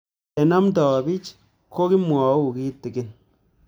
Ole namdoi pich ko kimwau kitig'in